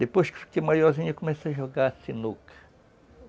Depois que eu fiquei maiorzinho, eu comecei a jogar sinuca.